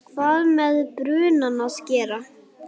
hvað með brunann að gera.